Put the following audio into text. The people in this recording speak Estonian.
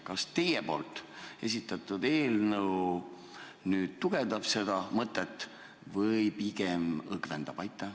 Kas teie esitatud eelnõu nüüd tugevdab seda mõtet või pigem õgvendab?